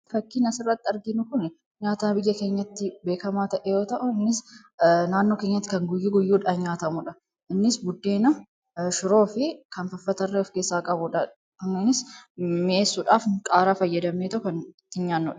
Fakkiin as irratti arginu kun nyaata biyya keenyatti beekamaa ta'e yoo ta'u naannoo keenyatti kan guyyaa guyyaadhaan nyaatamuudha. Innis buddeena, shiroo fi kan kana fakkaatan of keessaa qaba.